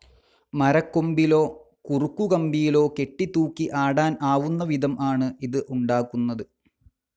Tree കൊമ്പിലോ കുറുക്കു കമ്പിയിലോ കെട്ടി തൂക്കി ആടാൻ ആവുന്ന വിധം ആണ് ഇത് ഉണ്ടാക്കുന്നത്.